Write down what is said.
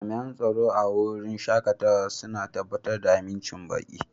Jami'an tsaro a wurin shakatawa suna tabbatar da amincin baƙi.